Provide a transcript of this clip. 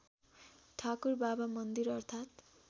ठाकुरबाबा मन्दिर अर्थात्